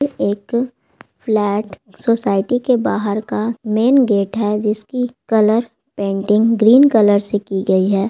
ये एक flat society के बाहर का मैन गेट है जिसकी कलर पेंटिंग ग्रीन कलर से की गई है।